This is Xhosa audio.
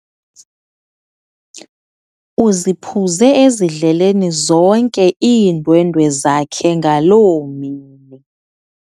Uziphuze ezidleleni zonke iindwendwe zakhe ngaloo mini.